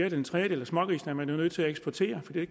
en tredjedel af smågrisene er man jo nødt til at eksportere fordi det